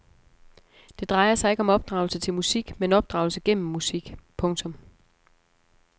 Det drejer sig ikke om opdragelse til musik men opdragelse gennem musik. punktum